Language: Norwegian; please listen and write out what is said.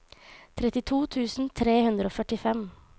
trettito tusen tre hundre og førtifem